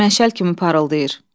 Məşəl kimi parıldayır.